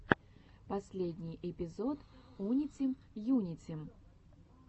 последний эпизод унитим юнитим